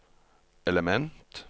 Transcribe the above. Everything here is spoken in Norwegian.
element